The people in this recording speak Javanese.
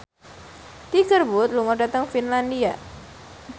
Tiger Wood lunga dhateng Finlandia